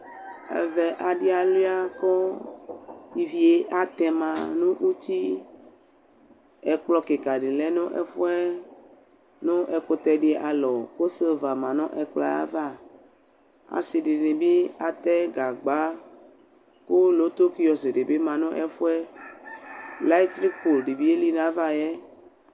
Ɛvɛ adi alʋia kʋ ivi atɛma nʋ uti Ɛkplɔ kɩka dɩ lɛ nʋ ɛfuɛ nʋ ɛkʋtɛ dɩ alɔ, kʋ sheva dɩ ma nʋ ɛkplɔ yɛava Asi dini bɩ atɛ gagba, kʋ lotokɩɔsƙ di bɩ ma nʋ ɛfʋɛ Layitrikʋ di bɩ eli nʋ ava yɛ